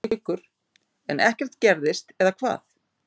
Haukur: En ekkert gerist eða hvað?